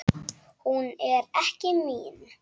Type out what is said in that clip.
Hún er ekki mín.